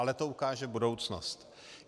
Ale to ukáže budoucnost.